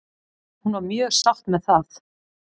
Hún var mjög sátt með það.